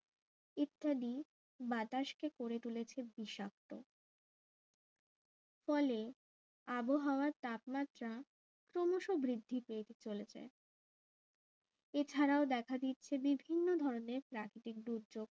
ইত্যাদি বাতাসকে গড়ে তুলেছে বিষাক্ত ফলে আবহাওয়ার তাপমাত্রা ক্রমশ বৃদ্ধি পেয়ে তো চলেছে এছাড়াও দেখা দিচ্ছে বিভিন্ন ধরনের প্রাকৃতিক দুর্যোগ